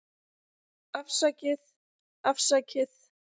Afsakið, afsakið.